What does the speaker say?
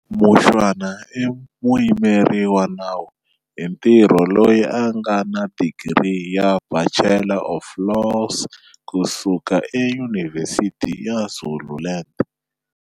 Mushwana i muyimeri wa nawu hi ntirho loyi a nga na digiri ya Bachelor of Laws kusuka eYunivhesiti ya Zululand.